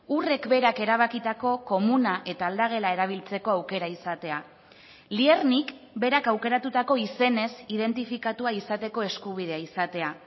urrek berak erabakitako komuna eta aldagela erabiltzeko aukera izatea liernik berak aukeratutako izenez identifikatua izateko eskubidea izatea